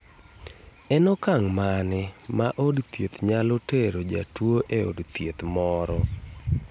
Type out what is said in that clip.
En okang' mane ma od thieth nyalo tero jatuo e od thieth moro?